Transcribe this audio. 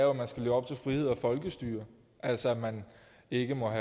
at man skal leve op til frihed og folkestyre altså at man ikke må